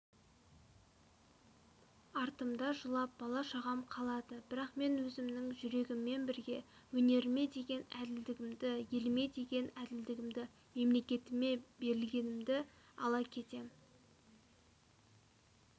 артымда жылап бала-шағам қалады бірақ мен өзімнің жүрегіммен бірге өнеріме деген әділдігімді еліме деген әділдігімді мемлекетіме берілгенімді ала кетем